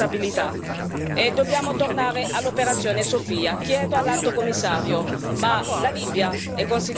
Adesso più che mai i governi europei devono dare prova di responsabilità e dobbiamo tornare all'operazione Sophia.